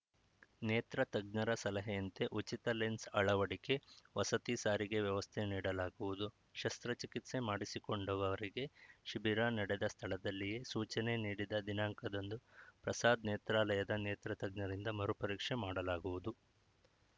ನೇತ್ರ ತಜ್ಞರ ಸಲಹೆಯಂತೆ ಉಚಿತ ಲೆನ್ಸ್‌ ಅಳವಡಿಕೆ ವಸತಿ ಸಾರಿಗೆ ವ್ಯವಸ್ಥೆ ನೀಡಲಾಗುವುದು ಶಸ್ತ್ರಚಿಕಿತ್ಸೆ ಮಾಡಿಸಿಕೊಂಡವರಿಗೆ ಶಿಬಿರ ನಡೆದ ಸ್ಥಳದಲ್ಲಿಯೇ ಸೂಚನೆ ನೀಡಿದ ದಿನಾಂಕದಂದು ಪ್ರಸಾದ್‌ ನೇತ್ರಾಲಯದ ನೇತ್ರತಜ್ಞರಿಂದ ಮರುಪರೀಕ್ಷೆ ಮಾಡಲಾಗುವುದು